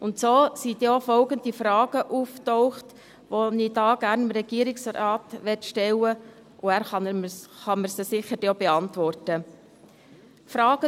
Und so sind denn auch die folgenden Fragen aufgetaucht, die ich dem Regierungsrat gerne stellen möchte und die er mir dann sicher auch beantworten kann.